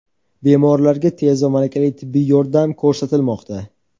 bemorlarga tez va malakali tibbiy yordam ko‘rsatilmoqda.